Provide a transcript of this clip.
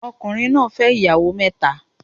Ọkùnrin fẹ́ ìyàwó mẹ́ta